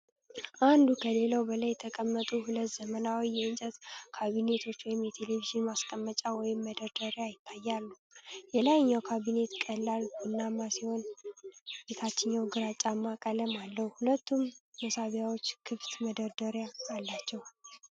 አንዱ ከሌላው በላይ የተቀመጡ ሁለት ዘመናዊ የእንጨት ካቢኔቶች (የቴሌቪዥን ማስቀመጫ ወይም መደርደሪያ) ይታያሉ። የላይኛው ካቢኔት ቀላል ቡናማ ሲሆን፣ ታችኛው ግራጫማ ቀለም አለው፤ ሁለቱም መሳቢያዎችና ክፍት መደርደሪያዎች አሏቸው።